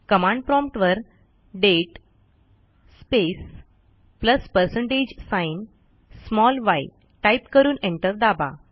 command promptवर दाते space plus percentage sign yटाईप करून एंटर दाबा